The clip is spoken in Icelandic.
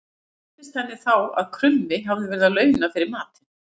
Skildist henni þá að krummi hafði verið að launa fyrir matinn.